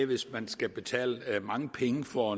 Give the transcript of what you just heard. hvis man skal betale mange penge for